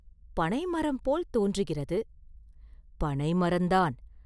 “பனைமரம் போல் தோன்றுகிறது.” “பனைமரந்தான்!